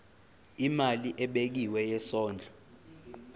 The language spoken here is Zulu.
imali ebekiwe yesondlo